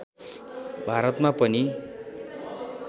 भारतमा पनि